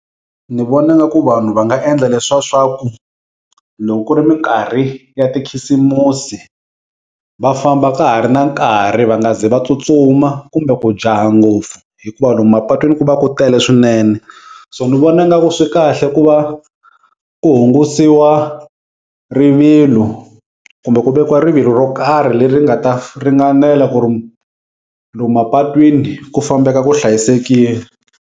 Ni vona nga ku vanhu va nga endla leswa sa ku loko ku ri minkarhi ya tikhisimusi va famba ka ha ri na nkarhi va nga ze va tsutsuma kumbe ku jaha ngopfu hikuva lomu mapatwini ku va ku tele swinene so ni vona nga ku swi kahle ku va ku hungasiwa rivilo kumbe ku vekiwa rivilo ro karhi leri nga ta ringanela ku ri lomu mapatwini ku fambeka ku hlayisekile.